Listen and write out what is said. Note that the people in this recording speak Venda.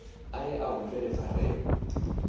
a ye a humbele pfarelo